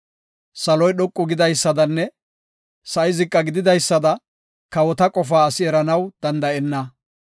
Saloy dhoqu gidaysadanne sa7i ziqa gididaysada kawota qofaa asi eranaw danda7enna.